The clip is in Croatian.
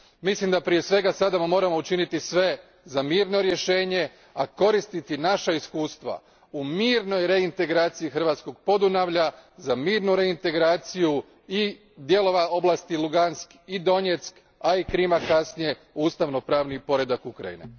Mislim da prije svega sada moramo učiniti sve za mirno rješenje, a koristiti naša iskustva u mirnoj reintegraciji hrvatskog Podunavlja za mirnu reintegraciju i dijelova oblasti Lugansk i Donjeck, a i Krima kasnije u ustavno pravni poredak Ukrajine.